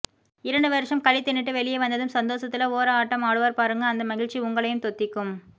இரண்டு வருஷம் களி தின்னுட்டு வெளிய வந்ததும் சந்தோஷத்துல ஒர ஆட்டம் ஆடுவார் பாருங்க அந்த மகிழ்ச்சி உங்களையும் தொத்திக்கும்